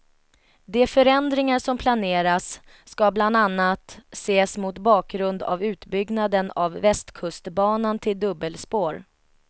De förändringar som planeras skall bland annat ses mot bakgrund av utbyggnaden av västkustbanan till dubbelspår.